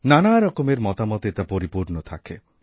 নানা রকমের মতামতে তা পরিপূর্ণ থাকে